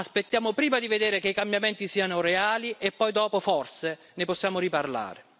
Aspettiamo prima di vedere che i cambiamenti siano reali e dopo, forse, ne possiamo riparlare.